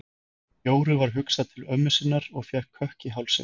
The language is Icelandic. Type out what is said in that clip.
Jóru var hugsað til ömmu sinnar og fékk kökk í hálsinn.